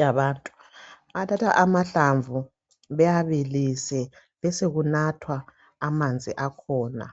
yabantu . Bathatha amahlamvu bewabilise besokunathwa amanzi akhona.